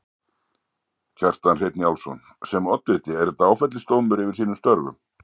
Kjartan Hreinn Njálsson: Sem oddviti er þetta áfellisdómur yfir þínum störfum?